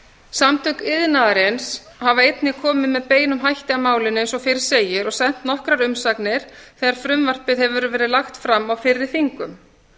samtök iðnaðarins hafa einnig komið með beinum hætti að málinu eins og fyrr segir og sent nokkrar umsagnir þegar frumvarpið hefur verið lagt fram á fyrri þingum